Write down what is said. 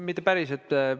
Mitte päris.